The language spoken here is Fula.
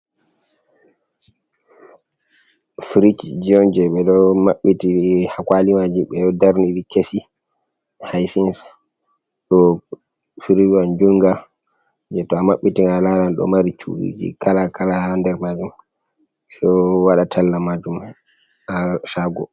Firicji on jey ɓe ɗo maɓɓiti haa kuwali maji, ɓe ɗo darni kesi haysin. Ɗo firicwa juuɗnga jey to a maɓɓiti nga, a laaran ɗo mari cu’iji kala kala haa nder maajum, so waɗa talla maajum a caago.